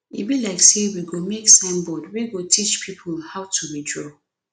e be like say we go make sign board wey go dey teach people how to withdraw